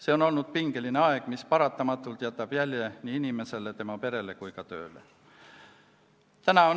See on olnud pingeline aeg, mis paratamatult jätab jälje nii inimesele, tema perele kui ka tööle.